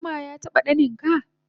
Shin zuma yataba ɗanina